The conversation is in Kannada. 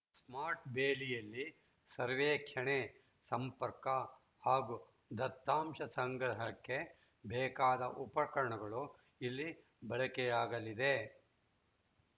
ಸ್ಮಾರ್ಟ್‌ ಬೇಲಿಯಲ್ಲಿ ಸರ್ವೇಕ್ಷಣೆ ಸಂಪರ್ಕ ಹಾಗೂ ದತ್ತಾಂಶ ಸಂಗ್ರಹಕ್ಕೆ ಬೇಕಾದ ಉಪಕರಣಗಳು ಇಲ್ಲಿ ಬಳಕೆಯಾಗಲಿದೆ